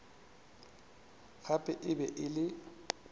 gape e be e le